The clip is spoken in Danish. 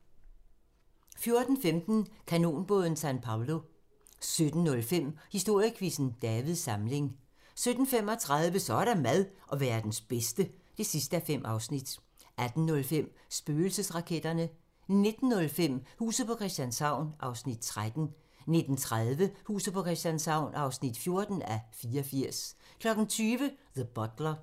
14:15: Kanonbåden San Pablo 17:05: Historiequizzen: Davids Samling 17:35: Så er der mad - Verdens bedste (5:5) 18:05: Spøgelsesraketterne 19:05: Huset på Christianshavn (13:84) 19:30: Huset på Christianshavn (14:84) 20:00: The Butler